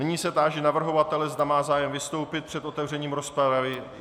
Nyní se táži navrhovatele, zda má zájem vystoupit před otevřením rozpravy.